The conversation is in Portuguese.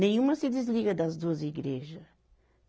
Nenhuma se desliga das duas igreja.